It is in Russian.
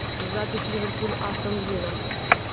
запись ливерпуль астон вилла